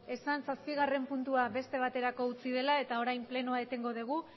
esan zazpigarren beste baterako utzi dela eta orain plenoa etengo dugu